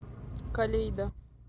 калейда